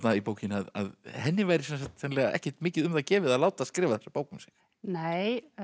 í bókinni að henni væri sennilega ekkert mikið um það gefið að láta skrifa þessa bók um sig nei